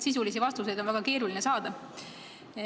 Sisulisi vastuseid on väga keeruline saada.